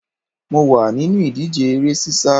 Mo wà nínú ìdíje eré sísá